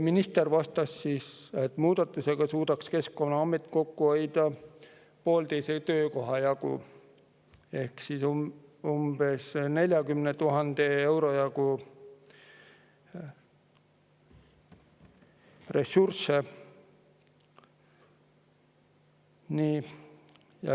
Minister vastas, et muudatusega suudaks Keskkonnaamet kokku hoida pooleteise töökoha jagu ehk umbes 40 000 euro jagu ressursse.